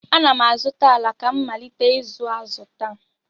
Ana m azụta ala ka m malite ịzụ azụ taa.